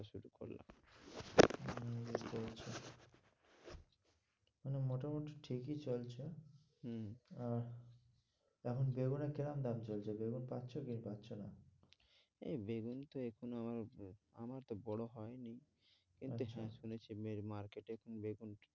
মোটামুটি ঠিকই চলছে হম আর এখন বেগুনের কিরম দাম চলছে? বেগুন পাচ্ছ কি পাচ্ছ না? এই বেগুন তো কোনোভাবে আহ আমার বড়ো হয়নি কিন্তু সমস্যা হচ্ছে market এ বেগুনটা।